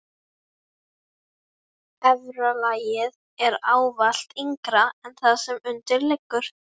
Efra lagið er ávallt yngra en það sem undir liggur.